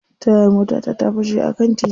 Tayar motata ta fashe a kan titi.